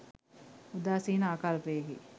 උදාසීන ආකල්පයකි.